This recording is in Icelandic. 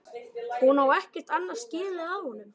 Hún á ekkert annað skilið af honum.